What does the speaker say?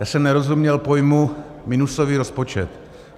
Já jsem nerozuměl pojmu minusový rozpočet.